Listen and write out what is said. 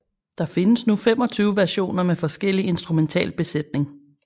Der findes nu 25 versioner med forskellig instrumental besætning